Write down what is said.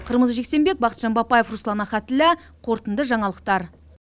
қырмызы жексенбек бақытжан бапаев руслан ахатіллә қорытынды жаңалықтар